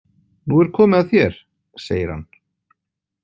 Nú er komið að þér, segir hann.